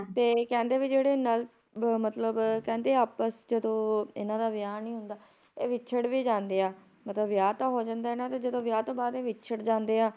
" ਤੇ ਕਹਿੰਦੇ ਵੀ ਜਿਹੜੇ ਨਲ ਮਤਲਬ ਕਹਿੰਦੇ ਆਪਸ ਵਿੱਚ ਜਦੋ ਇਹਨਾਂ ਦਾ ਵਿਆਹ ਨਹੀਂ ਹੁੰਦਾ ਇਹ ਵਿਛੜ ਵੀ ਜਾਂਦੇ ਆ ਮਤਲਬ ਵਿਆਹ ਤਾਂ ਹੋ ਜਾਂਦਾ ਇਹਨਾਂ ਦਾ ਜਦੋ ਵਿਆਹ ਤੋਂ ਬਾਅਦ ਇਹ ਵਿਛੜ ਜਾਂਦੇ ਆ, p"